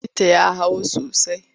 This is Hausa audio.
Jininta ya hau sosai.